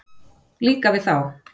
Líka við þá.